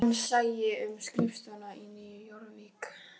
Hann sæi um skrifstofuna í Nýju Jórvík